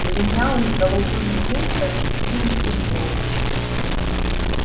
в линялых голубых джинсах и синей футболке